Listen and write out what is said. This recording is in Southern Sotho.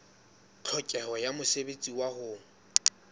tlhokeho ya mosebetsi wa ho